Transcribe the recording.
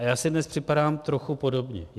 A já si dnes připadám trochu podobně.